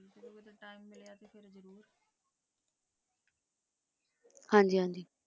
ਹਾਂ ਜੀ